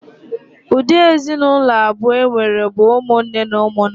Ụdị ezinụlọ abụọ enwere bụ ụmụnne na ụmụnna.